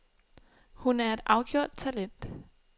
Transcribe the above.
Hun er et afgjort talent.